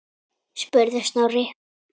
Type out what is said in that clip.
spurði Snorri.